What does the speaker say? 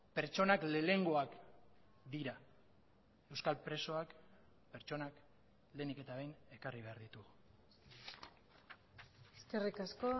pertsonak lehenengoak dira euskal presoak pertsonak lehenik eta behin ekarri behar ditugu eskerrik asko